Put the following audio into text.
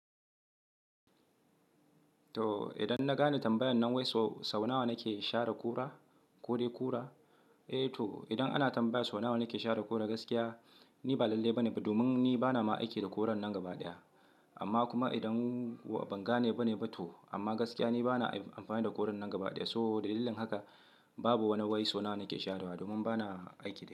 To idan na gane tambayan nan wai sau nawa nake share ƙura, kode kura? Eh to idan ana tambaya sau nawa nake share ƙura gaskiya ni ba lalle bane ba domin ni bana ma aiki da kurar nan gaba ɗaya. Amma kuma idan ban gane bane ba to amma gaskiya ni bana amfani da kurar nan gaba ɗaya. To dalilin haka babu wani wai sau nawa nake sharewa domin bana aiki da.